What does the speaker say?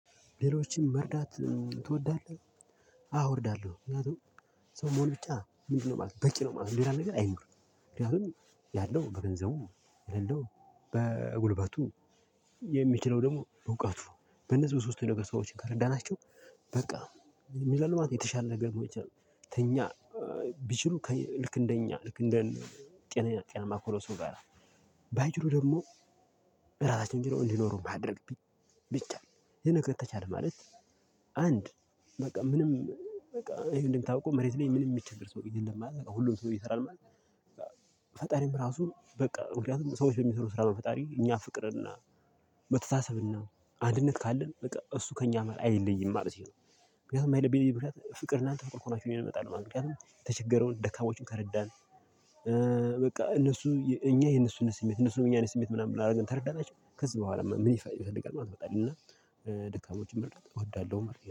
ሌሎችን መርዳት ትወዳለህ? አዎ እወዳለሁ። ምክንያቱም ሰው መሆን ብቻ ምንድነው ማለት ነው በቂ ነው ማለት ነው። ሌላ ነገር አይኑር። ምክንያቱም ያለው በገንዘቡ የሌለው በጉልበቱ የሚችለው ደግሞ በእውቀቱ በነዚህ በሶስቱ ነገር ሰዎችን ከረዳናቸው። በቃ ምን ይላሉ ማለት የተሻለ ነገር መሆን ይችላል። ተኛ ቢችሉ ልክ እንደኛ ልክ እንደ ጤናማ ከሆነ ሰው ጋራ። ደግሞ በራሳችን ችለው እንዲኖሩ ማድረግ ቢቻል ይሄ ነገር ተቻለ ማለት። አንድ በቃ ምንም በቃ ይሄን እንደምታወቀው መሬት ላይ ምንም የሚቸገር ሰው የለም ማለት ሁሉም ሰው እየሰራ ነው ማለት። ፈጣሪም ራሱ በቃ ምክንያቱም ሰዎች በሚሰሩ ስራ ፈጣሪ እኛ ፍቅርና መተሳሰብና አንድነት ካለን በቃ እሱ ከእኛ አይለይም ማለት ነው። ምክንያቱም የማይለይበት ምክንያት ፍቅርና እናንተ ፍቅር ከሆናችሁ እኔም እመጣለው ማለት ነው። የተቸገረውን ደካማዎቹን ከረዳን። በቃ እነሱ እኛ የእነሱን ስሜት እነሱን የእኛ አይነት ስሜት ምናምን አርገን ከረዳናቸው ከዚህ በኋላ ምን ይፋል ይፈልጋል ማለት ነው። እና ደካሞችን መርዳት እወዳለሁ መርዳት